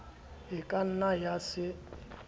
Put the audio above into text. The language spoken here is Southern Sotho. e ka nna ya se